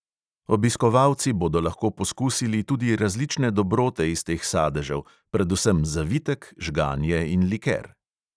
Obiskovalci bodo lahko pokusili tudi različne dobrote iz teh sadežev, predvsem zavitek, žganje in liker.